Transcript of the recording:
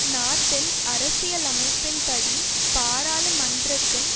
நாட்டின் அரசியலமைப்பின்படி பாராளுமன்றத்தின்